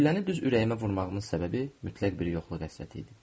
Gülləni düz ürəyimə vurmağının səbəbi mütləq bir yoxluq əsərləti idi.